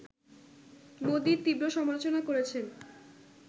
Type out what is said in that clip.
মোদির তীব্র সমালোচনা করেছেন